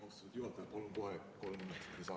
Austatud juhataja, palun kohe kolm minutit lisaaega.